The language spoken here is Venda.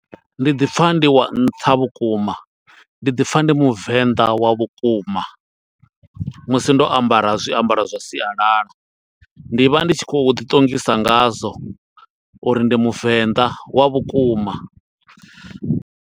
Ndi ḓi pfa ndi wa nṱha vhukuma, ndi ḓi pfa ndi Muvenḓa wa vhukuma, musi ndo ambara zwiambaro zwa sialala. Ndi vha ndi tshi khou ḓi ṱongisa ngazwo, uri ndi muvenḓa wa vhukuma.